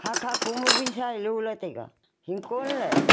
hahkha ko ma wunsa ee lo lah taiga hingkon ley.